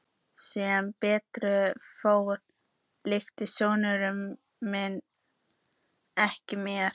Sem betur fór líktist sonur minn mér ekki.